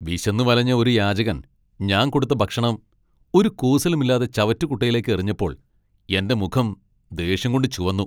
വിശന്നു വലഞ്ഞ ഒരു യാചകൻ ഞാൻ കൊടുത്ത ഭക്ഷണം ഒരു കൂസലുമില്ലാതെ ചവറ്റുകുട്ടയിലേക്ക് എറിഞ്ഞപ്പോൾ എന്റെ മുഖം ദേഷ്യം കൊണ്ട് ചുവന്നു.